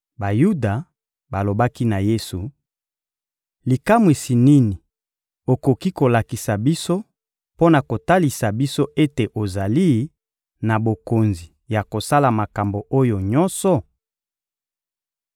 Bayuda balobaki na Yesu: — Likamwisi nini okoki kolakisa biso mpo na kotalisa biso ete ozali na bokonzi ya kosala makambo oyo nyonso?